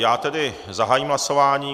Já tedy zahájím hlasování.